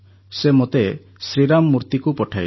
ସେ ମୋତେ ଶ୍ରୀରାମ ମୂର୍ତୀକୁ ପଠାଇଲେ